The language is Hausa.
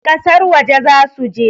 kasar waje za su je